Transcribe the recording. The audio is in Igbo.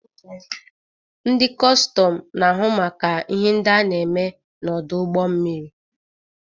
Ndị kọstọm na-ahụ maka ihe ndị a na-eme n'ọdụ ụgbọ mmiri